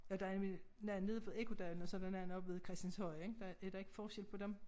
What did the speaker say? Og der en nogen nede ved Ekkodalen og så der nogen oppe ved Christianshøj ik der er der ikke forskel på dem?